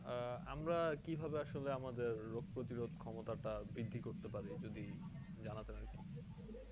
আহ আমরা কি ভাবে আসলে আমাদের রোগ প্রতিরোধ ক্ষমতা টা বৃদ্ধি করতে পারি যদি জানাতেন আর কি